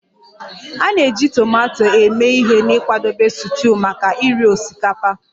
A na-eji tomato eme ihe n'ịkwadebe stuuyu maka iri osikapa